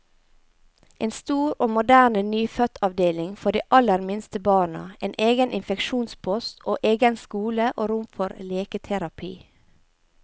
En stor og moderne nyfødtavdeling for de aller minste barna, en egen infeksjonspost, og egen skole og rom for leketerapi.